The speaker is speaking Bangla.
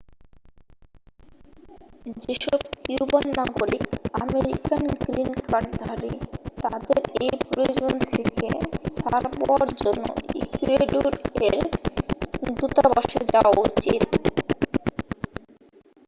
যেসব কিউবান নাগরিক আমেরিকান গ্রিন কার্ডধারী তাদের এই প্রয়োজন থেকে ছাড় পাওয়ার জন্য ইকুয়েডর-এর দূতাবাসে যাওয়া উচিত